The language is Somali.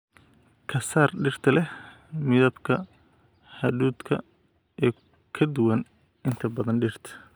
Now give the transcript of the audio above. Ka saar dhirta leh midabka hadhuudhka ee ka duwan inta badan dhirta.